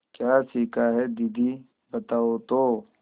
क्या सीखा है दीदी बताओ तो